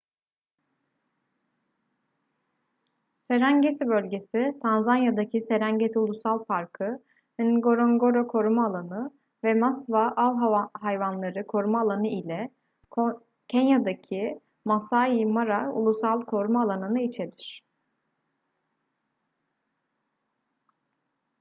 serengeti bölgesi tanzanya'daki serengeti ulusal parkı ngorongoro koruma alanı ve maswa av hayvanları koruma alanı ile kenya'daki masai mara ulusal koruma alanı'nı içerir